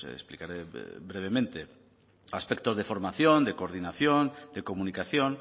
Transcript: explicaré brevemente aspectos de formación de coordinación de comunicación